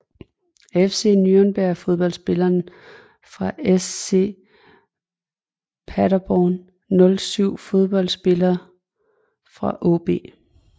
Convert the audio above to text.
FC Nürnberg Fodboldspillere fra SC Paderborn 07 Fodboldspillere fra AaB